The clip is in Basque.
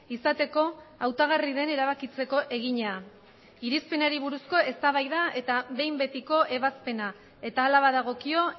izateko hautagarri den erabakitzeko egina irizpenari buruzko eztabaida eta behin betiko ebazpena eta hala badagokio